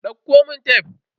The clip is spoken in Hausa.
Dauko mun tef.